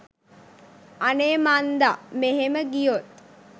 අනේ මන්ද මෙහෙම ගියොත්